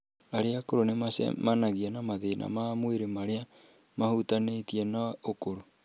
Arĩa akũrũ nĩ macemanagia na mathĩna ma mwĩrĩ marĩa mahutanĩtie na ũkũrũ.